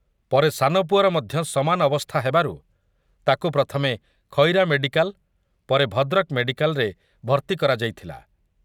ପରେ ସାନପୁଅର ମଧ୍ୟ ସମାନ ଅବସ୍ଥା ହେବାରୁ ତାକୁ ପ୍ରଥମେ ଖଇରା ମେଡ଼ିକାଲ ପରେ ଭଦ୍ରକ ମେଡ଼ିକାଲରେ ଭର୍ଭି କରାଯାଇଥିଲା ।